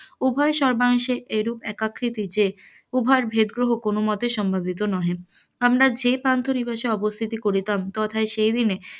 উভয় সর্বাংশেএরুপ একাকৃতি যে উভয়ের ভেদ গ্রহ কোন মতেই সম্ভাবিত নহে, আমরা যে পান্থ নিবাসে অবস্থিতি করিতাম তথাপি সেই দিনে